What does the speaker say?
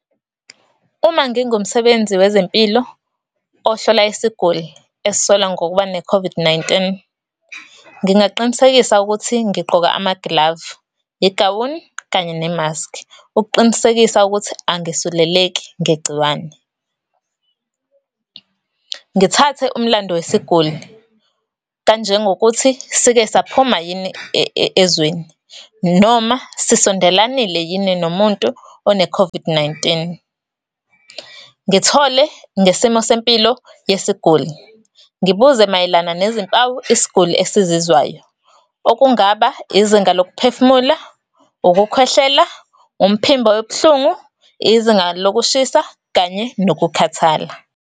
Uma ngingumsebenzi wezempilo ohlola isiguli esisolwa ngokuba ne-COVID-19, ngingaqinisekisa ukuthi, ngigqoka amagilavu, igawuni, kanye nemaski, ukuqinisekisa ukuthi angisuleleki ngegciwane . Ngithathe umlando wesiguli kanjengokuthi sike saphuma yini ezweni, noma sisondelanile yini nomuntu one-COVID-19. Ngithole ngesimo sempilo yesiguli. Ngibuze mayelana nezimpawu isiguli esizizwayo, okungaba izinga lokuphefumula, ukukhwehlela, umphimbo obuhlungu, izinga lokushisa, kanye nokukhathala.